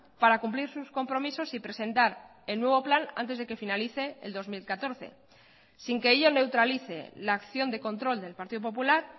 para cumplir sus compromisos y presentar el nuevo plan antes de que finalice el dos mil catorce sin que ello neutralice la acción de control del partido popular